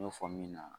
N y'o fɔ min na